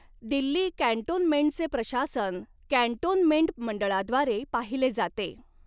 दिल्ली कॅन्टोनमेंटचे प्रशासन कॅन्टोनमेंट मंडळाद्वारे पाहिले जाते.